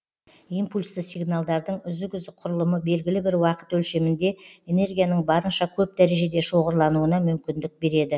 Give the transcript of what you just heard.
импульсті сигналдардың үзік үзік құрылымы белгілі бір уақыт өлшемінде энергияның барынша көп дәрежеде шоғырлануына мүмкіндік береді